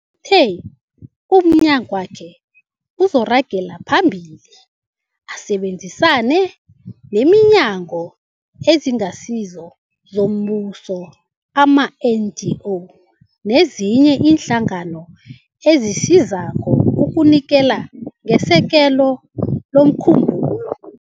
Uthe umnyagwakhe uzoragela phambili usebenzisane neeNhlangano eziNgasizo zoMbuso, ama-NGO, nezinye iinhlangano ezisizako ukunikela ngesekelo lomkhumbulo.